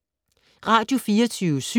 Radio24syv